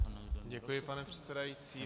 Děkuji, pane předsedající.